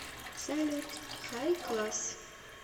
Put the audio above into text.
салют хайкласс